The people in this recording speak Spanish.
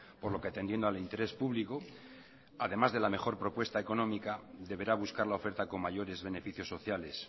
por lo que atendiendo al interés público además de la mejor propuesta económica deberá buscar la oferta con mayores beneficios sociales